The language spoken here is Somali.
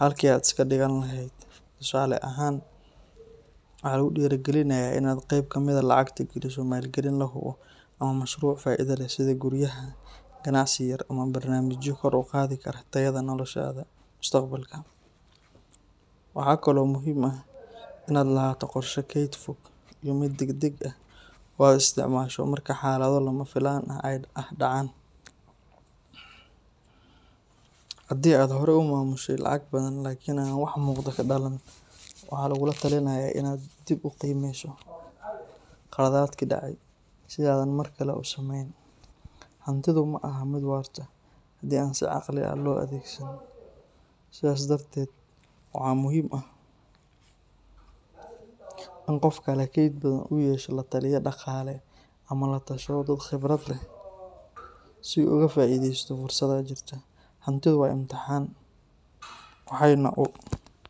halkii aad iska dhigan lahayd. Tusaale ahaan, waxaa lagu dhiirrigelinayaa in aad qeyb ka mid ah lacagta geliso maalgelin la hubo ama mashruuc faa’iido leh sida guryaha, ganacsi yar ama barnaamijyo kor u qaadi kara tayada noloshaada mustaqbalka. Waxaa kale oo muhiim ah in aad lahaato qorshe keyd fog iyo mid degdeg ah oo aad isticmaasho marka xaalado lama filaan ah dhacaan. Haddii aad hore u maamushay lacag badan laakiin aan wax muuqda ka dhalan, waxaa lagugula talinayaa in aad dib u qiimeyso khaladaadkii dhacay si aadan mar kale u sameyn. Hantidu maaha mid waarta haddii aan si caqli ah loo adeegsan, sidaas darteed waxaa muhiim ah in qofka leh kayd badan uu yeesho lataliye dhaqaale ama la tashado dad khibrad leh si uu uga faa’iideysto fursadaha jira. Hantidu waa imtixaan, waxayna u.